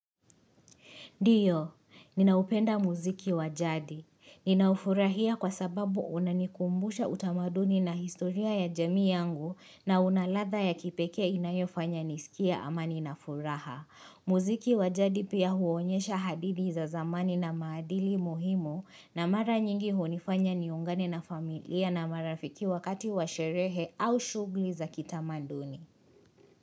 Diyo, ninaupenda muziki wa jadi. Ninaufurahia kwa sababu unanikumbusha utamaduni na historia ya jami yangu na una ladha ya kipekee inayofanya nisikie amani na furaha. Muziki wa jadi pia huonyesha hadidi za zamani na maadili muhimo na mara nyingi hunifanya niungane na familia na marafiki wakati wa sherehe au shugli za kitamaduni.